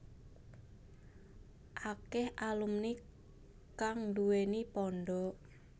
Akèh alumni kang nduwèni pondhok